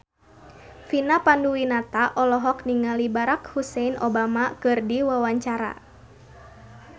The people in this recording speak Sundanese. Vina Panduwinata olohok ningali Barack Hussein Obama keur diwawancara